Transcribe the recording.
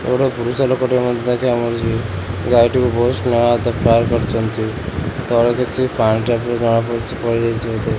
ଗୋଟେ ପୁରୁଷ ଲୋକ ଟିଏ ମଧ୍ୟ ଦେଖିବାକୁ ମିଳୁଚି। ଗାଈ ଟିକୁ ବୋହୁତ୍ ସ୍ନେହ ଆଦର୍ ପ୍ୟାର୍ କରୁଚନ୍ତି। ତଳେ କିଛି ପାଣି ଟାଇପ୍ ର ଜଣା ପଡୁଚି ପଡ଼ିଯାଇଚି ବୋଧେ।